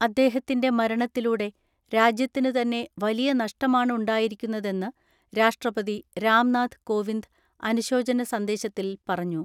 അദ്ദേഹത്തിന്റെ മരണത്തിലൂടെ രാജ്യത്തിനു തന്നെ വലിയ നഷ്ടമാണ് ഉണ്ടായിരിക്കുന്നതെന്ന് രാഷ്ട്രപതി രാംനാഥ് കോവിന്ദ് അനുശോചന സന്ദേശത്തിൽ പറഞ്ഞു.